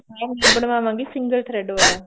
ਮੈਂ ਵੀ ਬਣਵਾਵਾਂਗੀ single thread ਵਾਲਾ